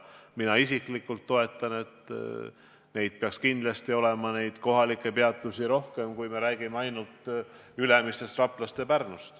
Mina isiklikult toetan seda plaani, et neid kohalikke peatusi peaks olema rohkem kui ainult Ülemiste, Rapla ja Pärnu.